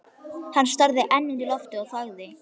Hann starði enn út í loftið og þagði.